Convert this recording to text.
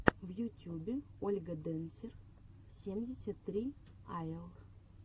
в ютюбе ольга дэнсер семьдесят три айэл